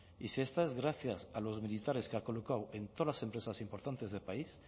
y si está es gracias a los militares que ha colocado en todas las empresas importantes del país